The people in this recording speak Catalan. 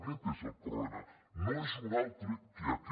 aquest és el problema no és un altre que aquest